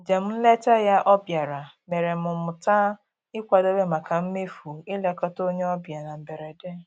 Njem nleta ya ọ bịara mere m mụta ịkwadobe maka mmefu ilekọta onye ọbịa na mberede